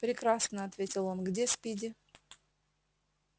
прекрасно ответил он где спиди